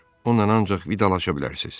Onunla ancaq vidalaşa bilərsiz.